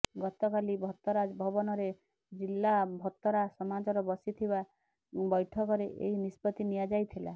ଗତକାଲି ଭତରା ଭବନରେ ଜିଲ୍ଲା ଭତରା ସମାଜର ବସିଥିବା ବୈଠକରେ ଏହି ନିଷ୍ପତ୍ତି ନିଆଯାଇଥିଲା